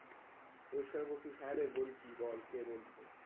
পরিষ্কার বলতিস হ্যাঁ রে বলছি বল কে বলছেন?